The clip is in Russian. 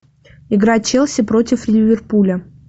игра челси против ливерпуля